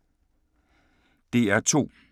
DR2